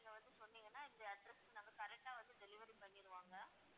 நீங்க வந்து சொன்னீங்கன்னா இந்த address க்கு நாங்க correct ஆ வந்து delivery பண்ணிருவோம் ma'am